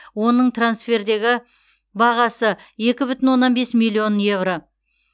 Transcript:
оның трансфердегі бағасы екі бүтін оннан бес миллион еуро